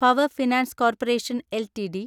power finance corporation LTD